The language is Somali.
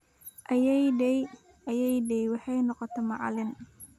Ayeeyaday/Ayeeyaday waxay noqotay macalin